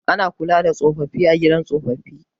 Ana kula da tsofaffi a gidan tsofaffi